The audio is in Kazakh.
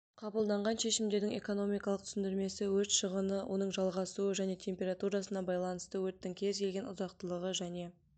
қабылданған шешімдердің экономикалық түсіндірмесі өрт шығыны оның жалғасуы және температурасына байланысты өрттің кез келген ұзақтылығы және